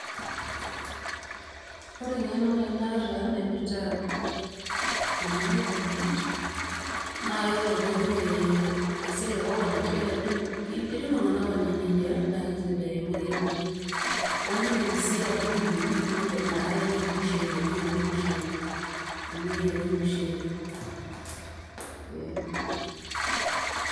Ore engeno naaji naata naipirta ena coconut naaa kayiolo ajo ore esiai ecoconut eti iltungana onya neijia na keisidai amu kenyaa kake indim sii atudumu nipik ina are enye olmushele niyierie olmushele amu keyieru olmushele.